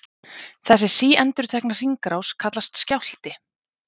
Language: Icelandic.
Þessi síendurtekna hringrás kallast skjálfti.